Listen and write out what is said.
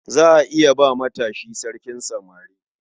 Za a iya ba matashi sarkin samari.